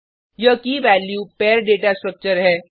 यह key value pair data structure है